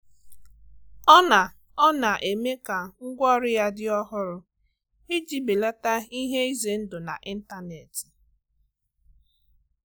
Ọna Ọna eme ka ngwaọrụ ya di ọhụrụ iji belata ihe ize ndu n'intanetị.